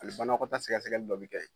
Ali banakɔtaa sɛgɛsɛgɛli dɔ bi kɛ yen